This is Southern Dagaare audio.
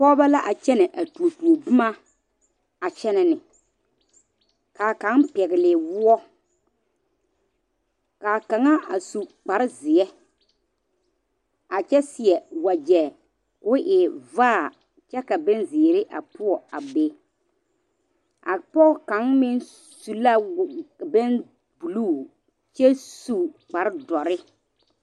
Pɔgeba la a kyɛne a tuo tuo boma a kyɛne ne kaa kaŋa pɛli woɔ kaa kaŋa a su kpare ziɛ a kyɛ seɛ wagye ko e vaa kyɛ ka bon ziiri a poɔ a be a pɔge kaŋa meŋ su la wo bɛŋ buluu kyɛ su kpare doɔre.